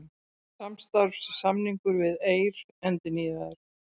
Samstarfssamningur við Eir endurnýjaður